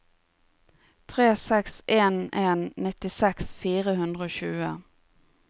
tre seks en en nittiseks fire hundre og tjue